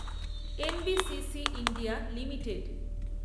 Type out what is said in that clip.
N. B. C. C India limited